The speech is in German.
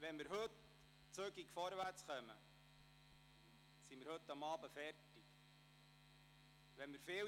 Wenn wir zügig vorwärtskommen, werden wir heute Abend fertig.